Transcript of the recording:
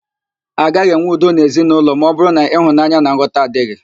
Agaghị enwe udo n'ezinaụlọ ma ọbụrụ na ịhụnanya na nghọta adịghị